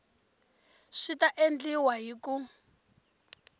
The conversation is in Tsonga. swi ta endliwa hi ku